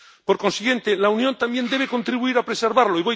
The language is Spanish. Por consiguiente, la Unión también debe contribuir a preservarlo.